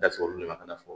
Dasulu de ma fɔ